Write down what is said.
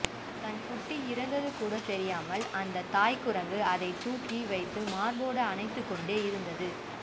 தன் குட்டி இறந்தது கூட தெரியாமல் அந்த தாய் குரங்கு அதனை தூக்கி வைத்து மார்போடு அணைத்து கொண்டே இருந்தது